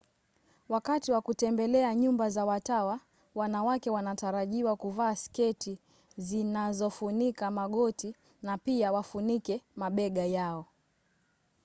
wakati wa kutembelea nyumba za watawa wanawake wanatarajiwa kuvaa sketi zinazofunika magoti na pia wafunike mabega yao